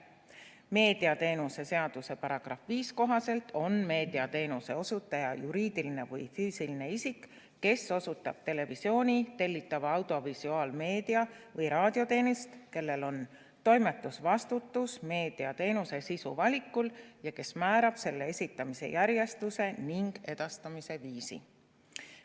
Meediateenuste seaduse § 5 kohaselt on meediateenuse osutaja juriidiline või füüsiline isik, kes osutab televisiooni-, tellitava audiovisuaalmeedia või raadioteenust, kellel on toimetusvastutus meediateenuse sisu valikul ja kes määrab selle esitamise järjestuse ning edastamise viisi.